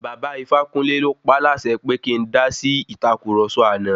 Bàba Ifákúnle ló paálàsẹ pé kí ń dásí ìtàkurọ̀sọ àná.